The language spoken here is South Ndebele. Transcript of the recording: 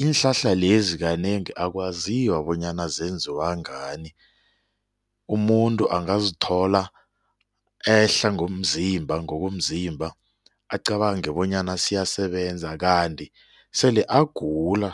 iinhlahla lezi kanengi akwaziwa bonyana zenziwa ngani umuntu angazithola ehla ngomzimba ngokomzimba acabange bonyana siyasebenza kanti sele agula.